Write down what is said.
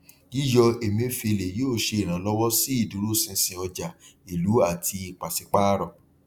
yíyọ emefiele yóò ṣe ìrànlọwọ sí ìdúróṣinṣin ọjà ilú àti pasipaarọ